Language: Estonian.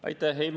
Aitäh!